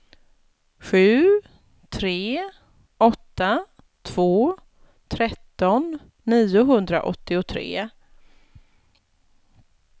sju tre åtta två tretton niohundraåttiotre